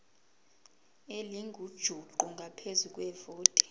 elingujuqu ngaphezu kwevoti